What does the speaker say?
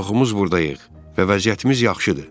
Çoxumuz buradayıq və vəziyyətimiz yaxşıdır.